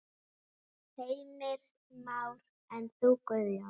Heimir Már: En þú Guðjón?